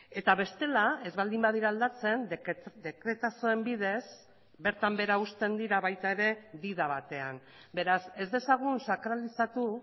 eta bestela ez baldin badira aldatzen dekretazoen bidez bertan behera uzten dira baita ere dida batean beraz ez dezagun sakralizatu